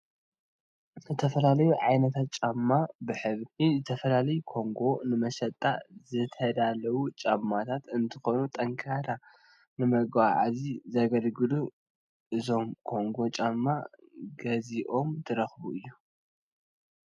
ዝተፈላለዮ ዓይነታት ጫማ ብሕብር ዝተፈላለዮ ኮንጎ ንመሸጣ ዝተዳለው ጫማታት እንትኮኑ ጠንከራ ንመጋዓዝያ ዘገልግሉ እዮም ። ኮንጎ ጫማ ገዝእካ ትረግፅ ዶ?